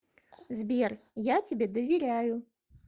сбер я тебе доверяю